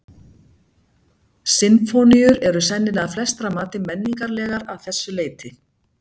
Sinfóníur eru sennilega að flestra mati menningarlegar að þessu leyti.